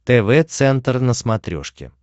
тв центр на смотрешке